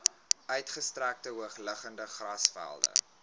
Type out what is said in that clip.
uitgestrekte hoogliggende grasvelde